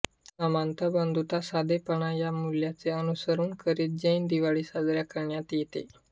समानता बंधुता साधेपणा या मूल्यांचे अनुसरण करीत जैन दिवाळी साजरी करण्यात येते